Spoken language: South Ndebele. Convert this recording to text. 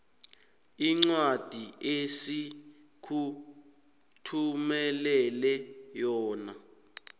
incwadi esikuthumelele yona